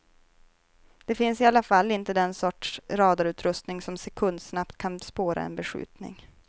Det finns i alla fall inte den sorts radarutrustning som sekundsnabbt kan spåra en beskjutning.